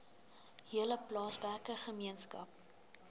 hele plaaswerker gemeenskap